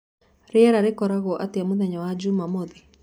rĩera rĩgakorwo atĩa mũthenya wa jũmamothĩ